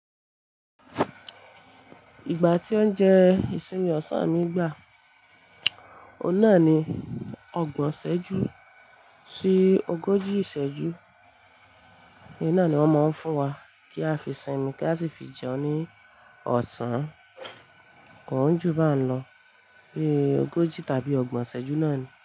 Ìgbà tí oúnjẹ ìsinmi ọ̀sán mi gbà, oun naa ni ọgbọ̀n iṣẹ́jú sí ogójì iṣẹ́jú. N naa ni wọn máa ń fún wa kí a fi sinmi kí a sì fi jẹun ní ọ̀sán. Kò ń jù bá n lọ, bí ogójì tàbí ọgbọ̀n iṣẹ́jú náà ni.